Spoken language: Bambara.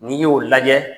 N'i y'o lajɛ